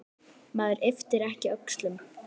Maður ypptir ekki öxlum.